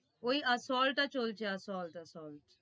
ওই assault টা চলছে assault assault